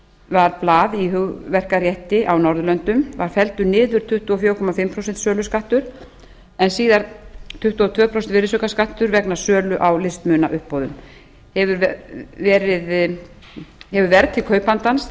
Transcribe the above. var blað í hugverkarétti á norðurlöndum var felldur niður tuttugu og fjögur og hálft prósent söluskattur en síðar tuttugu og tvö prósent virðisaukaskattur vegna sölu á listmunauppboðum hefur verð til kaupandans